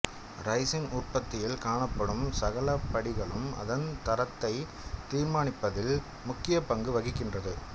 raisin உற்பத்தியில் காணப்படும் சகல படிகளும் அதன் தரத்தை தீர்மானிப்பதில் முக்கிய பங்கு வகிக்கின்றது